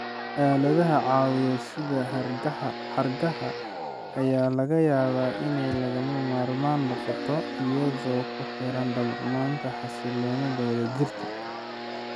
Aaladaha caawiya sida xargaha ayaa laga yaabaa inay lagama maarmaan noqoto iyadoo ku xiran darnaanta xasilloonida wadajirka.